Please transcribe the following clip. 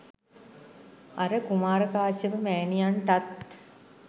අර කුමාර කාශ්‍යප මෑණියන්ටත්